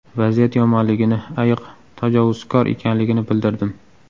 Vaziyat yomonligini, ayiq tajovuzkor ekanligini bildirdim.